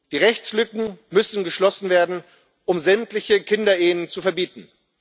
Die Rechtslücken müssen geschlossen werden, um sämtliche Kinderehen zu verbieten.